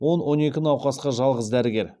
он он екі науқасқа жалғыз дәрігер